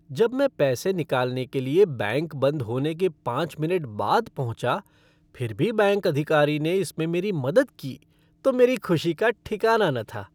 जब मैं पैसे निकालने के लिए बैंक बंद होने के पाँच मिनट बाद पहुँचा फिर भी बैंक अधिकारी ने इसमें मेरी मदद की तो मेरी खुशी का ठिकाना न था।